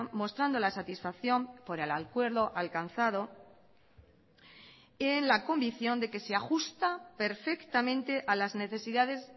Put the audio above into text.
mostrando la satisfacción por el acuerdo alcanzado y en la convicción de que se ajusta perfectamente a las necesidades